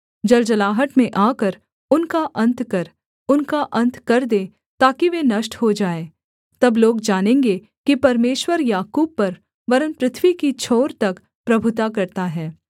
जलजलाहट में आकर उनका अन्त कर उनका अन्त कर दे ताकि वे नष्ट हो जाएँ तब लोग जानेंगे कि परमेश्वर याकूब पर वरन् पृथ्वी की छोर तक प्रभुता करता है सेला